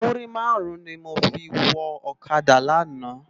Múrí márùn ni mó fi wò òkádá làná